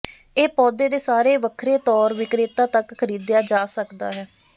ਇਹ ਪੌਦੇ ਦੇ ਸਾਰੇ ਵੱਖਰੇ ਤੌਰ ਵਿਕਰੇਤਾ ਤੱਕ ਖਰੀਦਿਆ ਜਾ ਸਕਦਾ ਹੈ